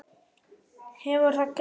Hefur það gerst við mig?